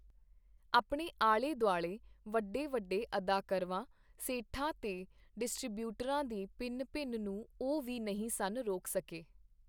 ਆਪਣੇ ਆਲੇ-ਦੁਆਲੇ ਵਡੇ-ਵਡੇ ਅਦਾਕਰਵਾਂ, ਸੇਠਾਂ ਤੇ ਡਿਸਟ੍ਰੀਬਿਊਟਰਾਂ ਦੀ ਭਿਣ-ਭਿਣ ਨੂੰ ਉਹ ਵੀ ਨਹੀਂ ਸਨ ਰੋਕ ਸਕੇ.